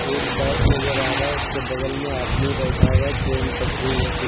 एक बैग नजर आ रहा उसके बगल में आदमी बैठा हुआ ट्रेन पटरी है।